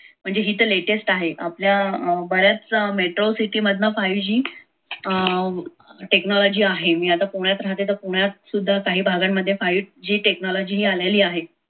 म्हणजे हे तर latest आहे आपल्या अं बऱ्याच metro city मधून five g अं technology आहे मी आता पुण्यात राहते तर पुण्यात काही भागांमध्ये सुद्धा पाहिजे five g technology आलेली आहे.